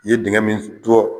I ye denkɛ min jɔ